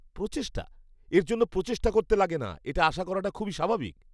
প্রচেষ্টা? এর জন্য প্রচেষ্টা করতে লাগে না, এটা আশা করাটা খুবই স্বাভাবিক।